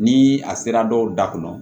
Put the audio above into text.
Ni a sera dɔw da kɔnɔ